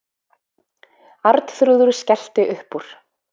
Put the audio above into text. Arnþrúður skellti upp úr.